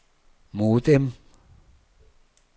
modem